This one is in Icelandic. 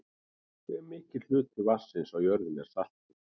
hve mikill hluti vatnsins á jörðinni er saltur